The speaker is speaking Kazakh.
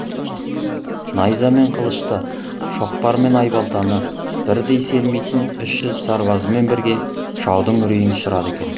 найза мен қылышты шоқпар мен айбалтаны бірдей сермейтін үш жүз сарбазымен бірге жаудың үрейін ұшырады екен